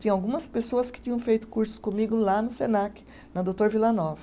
Tinha algumas pessoas que tinham feito cursos comigo lá no Senac, na doutor Vila Nova.